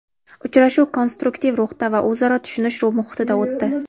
Uchrashuv konstruktiv ruhda va o‘zaro tushunish muhitida o‘tdi.